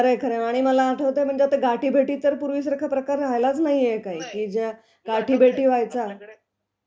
खरंय, खरंय. आणि मला आठवतंय गाठीभेटी तर पूर्वीसारखा प्रकार राहिलाच नाहीये काही की ज्या गाठीभेटी व्हायच्या.